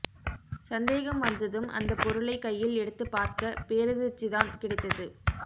சந்தேகம் வந்ததும் அந்தப் பொருளை கையில் எடுத்துப் பார்க்க பேரதிர்ச்சிதான் கிடைத்தது